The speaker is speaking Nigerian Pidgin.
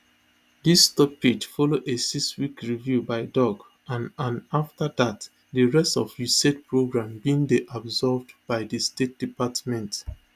dis stoppage follow a sixweek review by doge and and afta dat di rest of usaid programme bin dey absorbed by di state department